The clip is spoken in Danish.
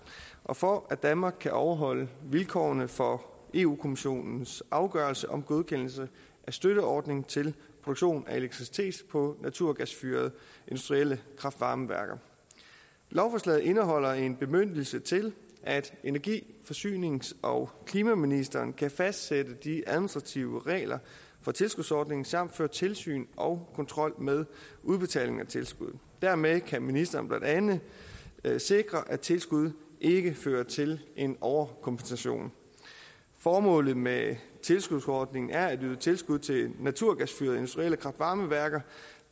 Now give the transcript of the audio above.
og for at danmark kan overholde vilkårene for europa kommissionens afgørelse om godkendelsen af støtteordning til produktion af elektricitet på naturgasfyrede industrielle kraft varme værker lovforslaget indeholder en bemyndigelse til at energi forsynings og klimaministeren kan fastsætte de administrative regler for tilskudsordningen samt føre tilsyn og kontrol med udbetaling af tilskud dermed kan ministeren blandt andet sikre at tilskud ikke fører til en overkompensation formålet med tilskudsordningen er at yde tilskud til naturgasfyrede industrielle kraft varme værker